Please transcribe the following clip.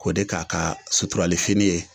K'o de k'a ka suturalifini ye